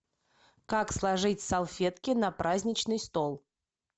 как сложить салфетки на праздничный стол